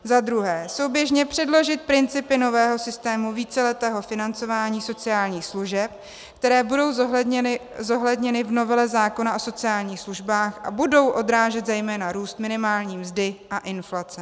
"Za druhé - souběžně předložit principy nového systému víceletého financování sociálních služeb, které budou zohledněny v novele zákona o sociálních službách a budou odrážet zejména růst minimální mzdy a inflace.